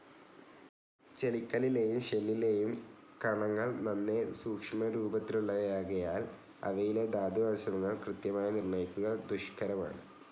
ചെളിക്കല്ലിലെയും ഷെല്ലിലെയും കണങ്ങൾ നന്നേ സൂക്ഷ്മരൂപത്തിലുള്ളവയാകയാൽ അവയിലെ ധാതുവംശങ്ങൾ കൃത്യമായി നിർണയിക്കുക ദുഷ്കരമാണ്.